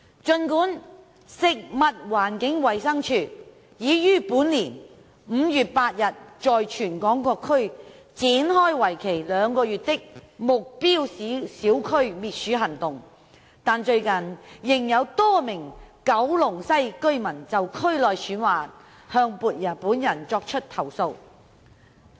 儘管食物環境衞生署已於本年5月8日在全港各區展開為期兩個月的目標小區滅鼠行動，但最近仍有多名九龍西居民就區內鼠患向本人作出投訴。